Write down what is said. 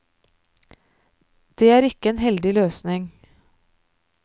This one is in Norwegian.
Det er ikke en heldig løsning.